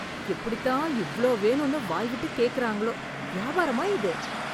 எப்படித் தான் இவ்ளோ வேணும்ன்னு வாய் விட்டு கேக்குறாங்களோ, வியாபாரமா இது!